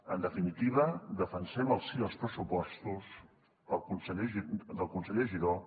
en definitiva defensem el sí als pressupostos del conseller giró